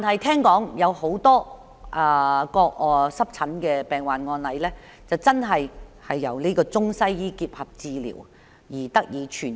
國內有多個濕疹病患案例，確實是由中西醫結合治療而得以痊癒。